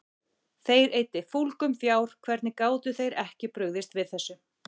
Þeir eyddi fúlgum fjár, hvernig gátu þeir ekki brugðist við þessu?